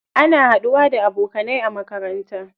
Ana haɗuwa da abokanai a makaranta.